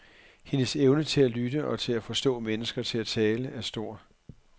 Hendes evne til at lytte og til at få mennesker til at tale er stor.